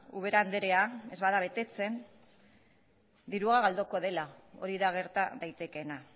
ubera andrea ez bada betetzen dirua galduko dela hori da gerta daitekeena